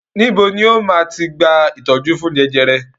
Níbo ni ó máa ti gba ìtọ́jú fún jẹjẹrẹ?